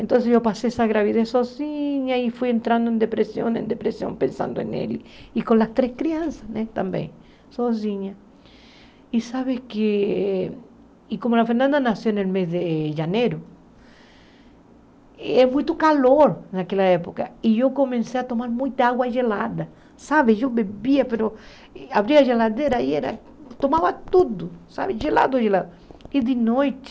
então eu passei essa gravidez sozinha e fui entrando em depressão em depressão pensando nele e com as três crianças né também sozinha e sabe que e como a Fernanda nasceu no mês de janeiro é muito calor naquela época e eu comecei a tomar muita água gelada sabe, eu bebia, abria a geladeira e tomava tudo sabe, gelado, gelado e de noite